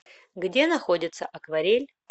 где находится акварель